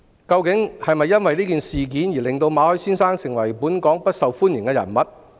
究竟是否因為這次事件令馬凱先生成為不受本港歡迎的人物？